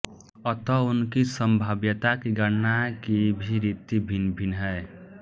अत उनकी संभाव्यता की गणना की भी रीति भिन्न भिन्न हैं